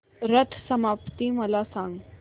रथ सप्तमी मला सांग